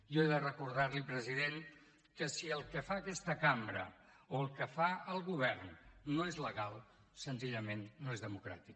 jo he de recordar li president que si el que fa aquesta cambra o el que fa el govern no és legal senzillament no és democràtic